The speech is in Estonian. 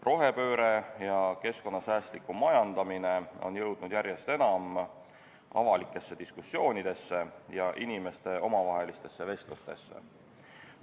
Rohepööre ja keskkonnasäästlik majandamine on jõudnud järjest enam avalikesse diskussioonidesse ja inimeste omavahelistesse vestlustesse.